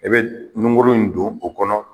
E bɛ nunkuru in don o kɔnɔ